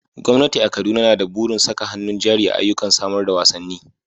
Gwamnati a Kaduna na da burin saka hannun jari a ayyukan samar da wasanni.